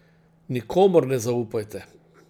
Nikomur ne zaupajte.